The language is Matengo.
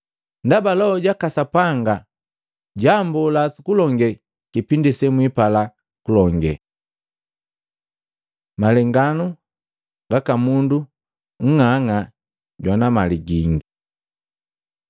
Ndaba Loho jaka Sapanga jwammbola sukulonge kipindi semwipala kulonge.” Malenganu gaka mundu nng'ang'a jwana mali gingi